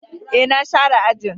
E, na share ajin.